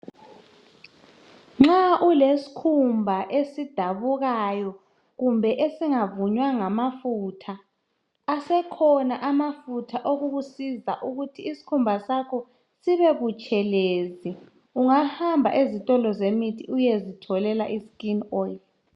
Nxa ulesikhumba esidabukayo kumbe esingavunywa ngamafutha asekhona amafutha okukusiza ukuthi isikhumba sakho sibe butshelezi. Ungahamba ezitolo zemithi uyezitholela iskin oil.